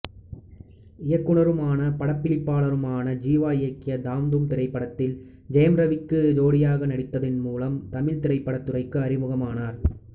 இயக்குனரும் படப்பிடிப்பாளருமான ஜீவா இயக்கிய தாம் தூம் திரைப்படத்தில் ஜெயம் ரவிக்கு ஜோடியாக நடித்ததன் மூலம் தமிழ்த் திரைப்படத்துறைக்கு அறிமுகமானார்